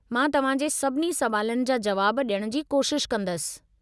मां तव्हां जे सभिनी सवालनि जा जवाब ॾियण जी कोशिशि कंदसि।